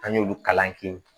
An y'olu kalan kɛ